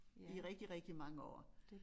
I rigtig rigtig mange år